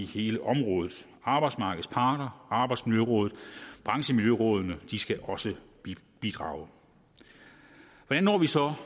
hele området arbejdsmarkedets parter arbejdsmiljørådet branchemiljørådene skal også bidrage hvordan når vi så